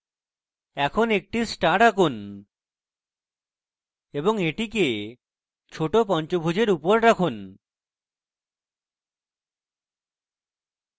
এখন একটি star আঁকুন এবং এটিকে ছোট পঞ্চভূজের উপর রাখুন